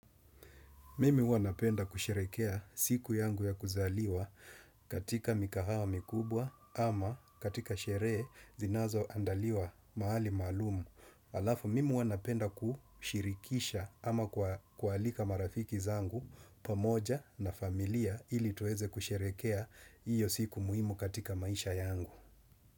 Mimi huwa napenda kusherekea siku yangu ya kuzaliwa katika mikahawa mikubwa ama katika sheree zinazo andaliwa mahali malumu. Alafu, mimi huwa napenda kushirikisha ama kualika marafiki zangu pamoja na familia ili tuweze kusherekea iyo siku muhimu katika maisha yangu.